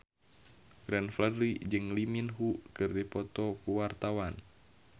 Glenn Fredly jeung Lee Min Ho keur dipoto ku wartawan